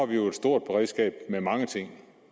vi jo et stort beredskab med mange ting